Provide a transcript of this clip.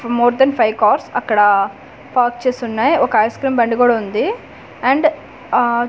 more than five cars అక్కడా park చేసి వున్నాయి ఒక ఐస్ క్రీమ్ బండి గుడ వుంది అండ్ ఆ--